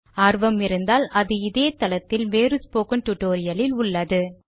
ஆர்வம் இருந்தால் அது இதே தளத்தில் வேறு ஸ்போக்கன் டுடோரியலில் உள்ளது